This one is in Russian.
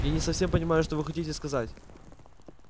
и не совсем понимаю что вы хотите сказать